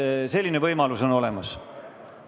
Selline võimalus on olemas.